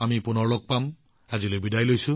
তেতিয়ালৈকে মই আপোনালোকৰ পৰা বিদায় লৈছো